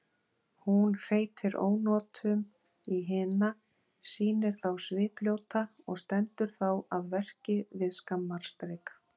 Hún hreytir ónotum í hina, sýnir þá svipljóta og stendur þá að verki við skammarstrik.